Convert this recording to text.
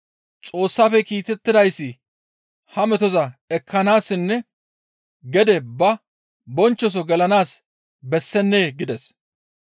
Xoossafe kiitettidayssi ha metoza ekkanaassinne gede ba bonchchoso gelanaas bessennee?» gides.